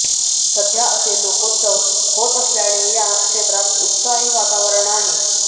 सध्या असे लोकोत्सव होत असल्याने या क्षेत्रात उत्साही वातावरण आहे